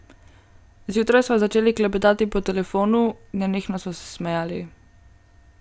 Zjutraj sva začeli klepetati po telefonu, nenehno sva se smejali.